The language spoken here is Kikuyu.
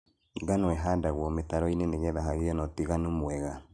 Ngano ĩhandagwo mĩtaroinĩ nĩgetha hagie na ũtiganu mwega.